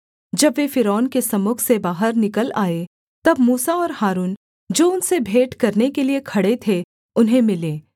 जब वे फ़िरौन के सम्मुख से बाहर निकल आए तब मूसा और हारून जो उनसे भेंट करने के लिये खड़े थे उन्हें मिले